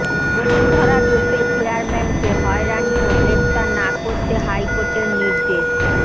বসুন্ধরা গ্রুপের চেয়ারম্যানকে হয়রানি ও গ্রেফতার না করতে হাইকোর্টের নির্দেশ